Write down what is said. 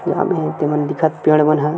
जामे हे ते मन दिखत पेड़ मन हे।